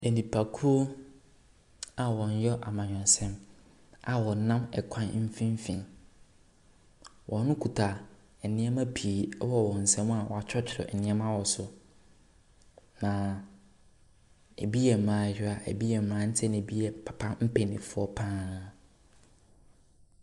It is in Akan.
Enipa kuo a ɔyɛ amanyɔsɛm a ɔnam ɛkwan mfimfin. Ɔkuta nnoɔma pii ɛwɔ wɔn nsam a woakyerɛkyerɛ nneɛma wɔ so. Na ebi yɛ mmaayewa, ebi yɛ mmranteɛ, na ebi yɛ papa mpanyinfoɔ paa.